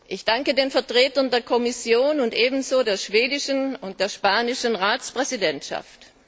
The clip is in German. Ich danke den Vertretern der Kommission und ebenso der schwedischen und der spanischen Ratspräsidentschaft.